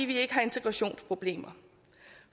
vi ikke har integrationsproblemer